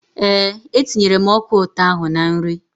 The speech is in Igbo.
Ee, e tinyere m ọka ụtọ ahụ na nri.